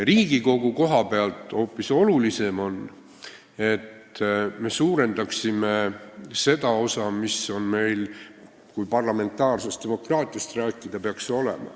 Riigikogu koha pealt on hoopis olulisem, et me suurendaksime seda osa, mis meil peaks olema, kui parlamentaarsest demokraatiast rääkida.